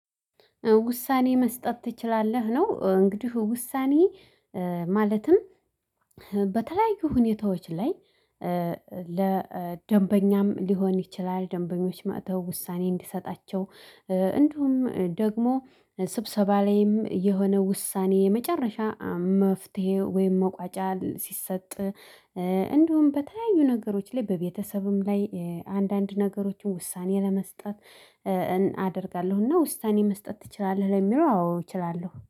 ውሳኔ መስጠት ትችላለህ። ነው እንግዲህ ውሳኔ ማለትም በተለያዩ ሁኔታዎች ላይ። ለደንበኛም ሊሆን ይችላል ደንበኞች መጥተው ውሳኔ እንዲሰጣቸው። እንደውም ደግሞ ስብሰባ ላይም የሆነ ውሳኔ የመጨረሻ መፍትሄ ወይም መቋጫ ሲሰጥ። እንደውም በተለያዩ ነገሮች ላይ በቤተሰብም ላይ አንዳንድ ነገሮችን ውሳኔ ለመስጠት እ አደርጋለሁ። እና ውሳኔ መስጠት ትችላለህ ለሚለው አዎ እችላለሁ